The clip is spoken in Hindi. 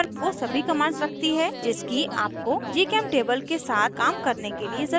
menubar वो सभी commands रखती है जिसकी आपको gchemtable के साथ काम करने के लिए ज़रुरत है